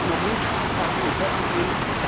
Da hilft nur Mut, Anpacken und Vorangehen.